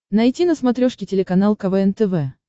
найти на смотрешке телеканал квн тв